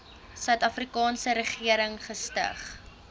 suidafrikaanse regering gestig